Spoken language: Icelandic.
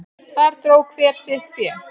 Þar dró hver sitt fé.